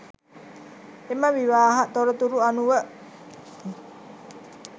එම විවාහ තොරතුරු අනුව